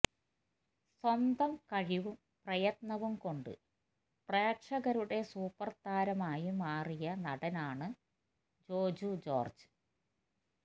സ്വന്തം കഴിവും പ്രയത്നവും കൊണ്ട് പ്രേക്ഷകരുടെ സൂപ്പര് താരം ആയി മാറിയ നടന് ആണ് ജോജു ജോര്ജ്